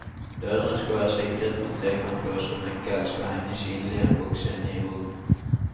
Dørene skal være sikret med en trekantlås, og nøkkelen skal henge synlig i en boks inne i vognen.